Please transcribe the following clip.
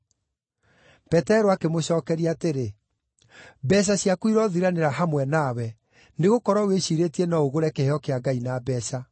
Petero akĩmũcookeria atĩrĩ, “Mbeeca ciaku irothiranĩra hamwe nawe, nĩgũkorwo wĩciirĩtie no ũgũre kĩheo kĩa Ngai na mbeeca.